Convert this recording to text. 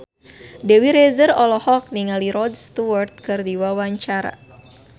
Dewi Rezer olohok ningali Rod Stewart keur diwawancara